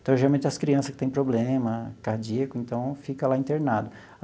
Então, geralmente as crianças que têm problema cardíaco, então fica lá internado.